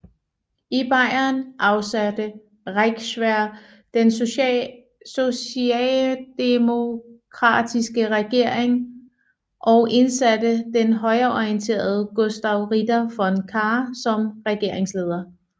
I Bayern afsatte Reichswehr den sociademokratiske regering og indsatte den højreorienterede Gustav Ritter von Kahr som regeringsleder